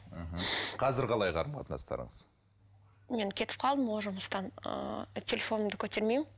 мхм қазір қалай қарым қатынастарыңыз мен кетіп қалдым ол жұмыстан ыыы телефонымды көтермеймін